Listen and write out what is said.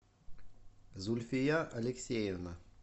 зульфия алексеевна